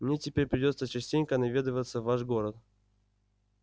мне теперь придётся частенько наведываться в ваш город